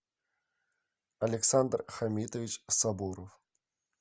александр хамитович сабуров